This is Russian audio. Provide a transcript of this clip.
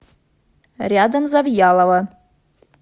рядом завьялово